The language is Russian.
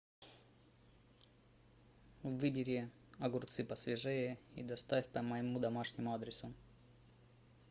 выбери огурцы посвежее и доставь по моему домашнему адресу